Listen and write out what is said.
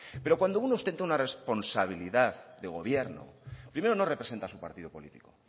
pero cuando uno ostenta una responsabilidad de gobierno primero no representa a su partido político